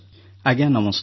ଆଜ୍ଞା ନମସ୍କାର